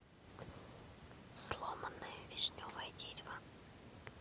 сломанное вишневое дерево